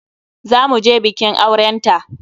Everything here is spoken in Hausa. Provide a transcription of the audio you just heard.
Za mu je bikin auren ta.